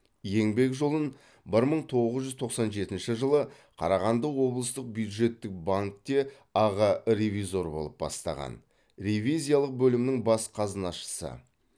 еңбек жолын бір мың тоғыз жүз тоқсан жетінші жылы қарағанды облыстық бюджеттік банкте аға ревизор болып бастаған ревизиялық бөлімнің бас қазынашысы